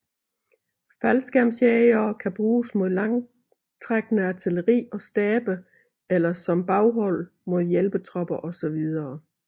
Faldskærmsjægere kan bruges mod langtrækkende artilleri og stabe eller som baghold mod hjælpetropper osv